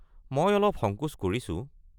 মই অলপ সংকোচ কৰিছোঁ।